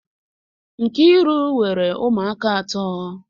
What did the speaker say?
Nkiru nwere umu aka ato.